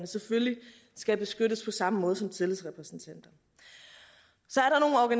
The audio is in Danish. selvfølgelig skal beskyttes på samme måde som tillidsrepræsentanter